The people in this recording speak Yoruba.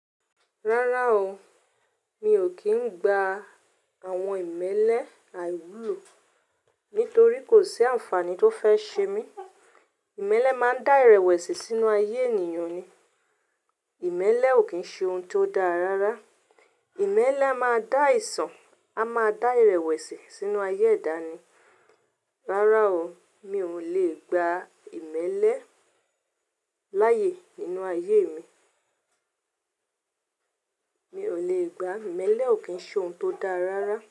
Rárá o, mi ò kí ń gba àwọn ìmẹ́lẹ́ àìwúlò nítorí kò sí àǹfààní tó fẹ́ ṣe mí. Ìmẹ́lẹ́ máa ń dá ìrẹ̀wẹ̀sì sínú ayé ènìyàn ni. Ìmẹ́lẹ́ ò kí ń ṣe ohun tó dára rárá. Ìmẹ́lẹ́ a máa dá ìsàn, a máa dá ìrẹ̀wẹ̀sì sínú ayé edá ni. Rárá o, mi ò lè gba ìmẹ́lẹ́ láàyè nínú ayé mi. Mi ò lè gba ìmẹ́lẹ́ ò kí ń ṣe ohun tó dára rárá.